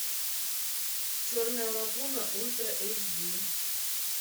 черная лагуна ультра эйч ди